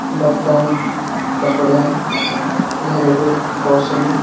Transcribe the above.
बर्तन कपड़े घरेलु ग्रॉसरी --